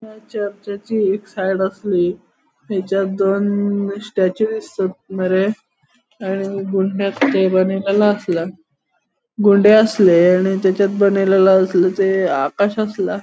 एक साइड आसली थयचांन दोन स्टेचू दिसतात बरे आणि आसला गुंडे आसले आणि आसले ते आकाश आसला.